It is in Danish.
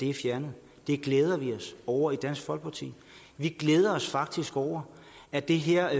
er fjernet det glæder vi os over i dansk folkeparti vi glæder os faktisk over at det her